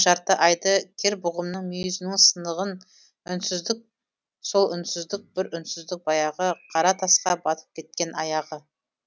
жарты айды кер бұғымның мұйізінің сынығын үнсіздік сол үнсіздік бір үнсіздік баяғы қара тасқа батып кеткен аяғы